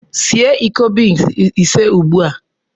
Sie iko beans ise ugbu a!